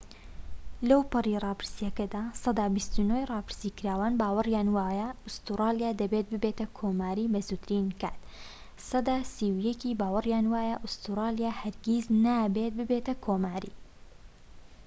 لەوپەڕی ڕاپرسیەکەدا، سەدا ٢٩ ی راپرسیکراوان باوەریان وایە ئوستورالیا دەبێت ببێتە کۆماری بە زووترین کات، سەدا ٣١ باوەریان وایە ئوستورالیە هەرگیز نابێت ببێتە کۆماری